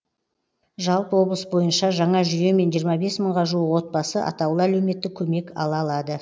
жалпы облыс бойынша жаңа жүйемен жиырма бес мыңға жуық отбасы атаулы әлеуметтік көмек ала алады